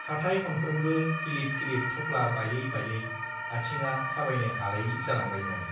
हाथाइ खनफ्रोमबो गिलिद गिलिद थफ्ला बायै बायै आथिंआ थाबायनो हालायि जालांबायमोन